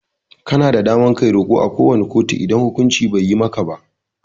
Kana da damar Kai roko à ko wani kotu idan hukunci Bai yi maka ba.